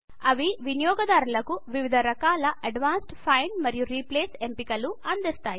ఇవి వినియోగదారులకు వివిధ రకాల అడ్వాన్స్డ్ ఫైండ్ మరియు రీప్లేస్ ఎంపికలు అందిస్తాయి